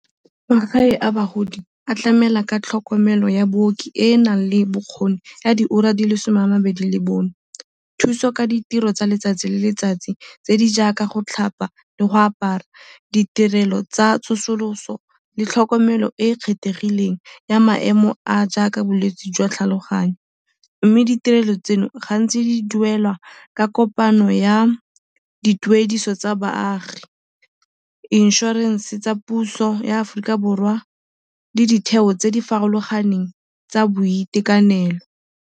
Magae a bagodi a tlamela ka tlhokomelo ya booki e e nang le bokgoni jwa diura di le some a mabedi le bone, thuso ka ditiro tsa letsatsi le letsatsi tse di jaaka go tlhapa le go apara, ditirelo tsa tsosoloso le tlhokomelo e e kgethegileng ya maemo a a jaaka bolwetsi jwa tlhaloganyo. Mme ditirelo tseno gantsi di duelwa ka kopano ya dituediso tsa baagi, inšorense tsa puso ya Aforika Borwa le ditheo tse di farologaneng tsa boitekanelo.